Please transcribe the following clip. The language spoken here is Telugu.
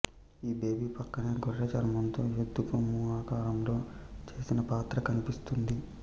ఈ బేబీ ప్రక్కనే గొర్రె చర్మంతో ఎద్దు కొమ్ము ఆకారంలో చేసిన పాత్ర కనిపిస్తుంది